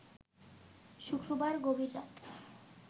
শুক্রবার গভীর রাতে